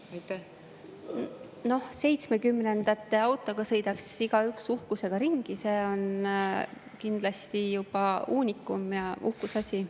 1970-ndate autoga sõidaks igaüks uhkusega ringi, see on kindlasti juba uunikum ja uhkuseasi.